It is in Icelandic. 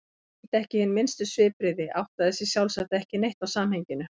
Hún sýndi ekki hin minnstu svipbrigði, áttaði sig sjálfsagt ekki neitt á samhenginu.